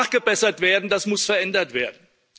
Das muss nachgebessert werden, das muss verändert werden.